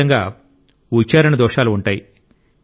ఖచ్చితంగా ఉచ్చారణ దోషాలు ఉంటాయి